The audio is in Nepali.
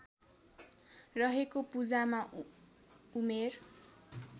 रहेको पूजामा उमेर